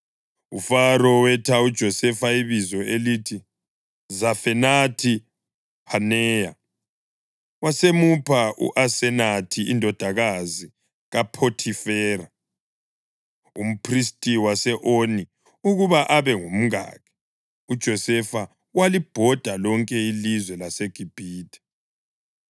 UFaro wetha uJosefa ibizo elithi Zafenathi-Phaneya, wasemupha u-Asenathi indodakazi kaPhothifera, umphristi wase-Oni ukuba abe ngumkakhe. UJosefa walibhoda lonke ilizwe laseGibhithe.